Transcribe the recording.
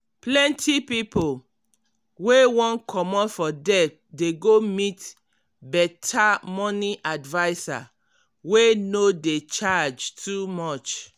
plenty pipo wey wan comot for debt dey go meet better money adviser wey no dey charge too much.